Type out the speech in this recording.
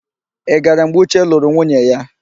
Ị gara mgbe Uche lụrụ nwunye ya?